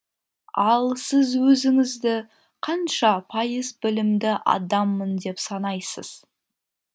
ал сіз өзіңізді қанша пайыз білімді адаммын деп санайсыз